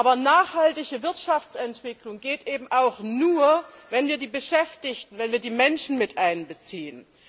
Aber nachhaltige Wirtschaftsentwicklung geht eben auch nur, wenn wir die Beschäftigten, wenn wir die Menschen miteinbeziehen.